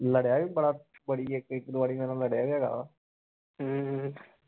ਲੜਿਆ ਵੀ ਬੜਾ ਬੜੀ ਇਕ ਦੋ ਵਾਰੀ ਮੇਰੇ ਨਾਲ ਲੜਿਆ ਵੀ ਹੈਗਾ